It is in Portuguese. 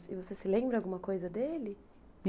E você se lembra alguma coisa dele?